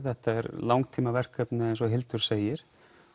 þetta er langtíma verkefni eins og Hildur segir